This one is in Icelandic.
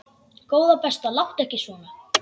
Góða besta láttu ekki svona!